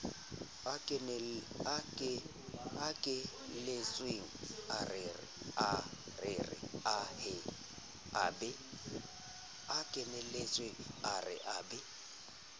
kenelletseng a rere a be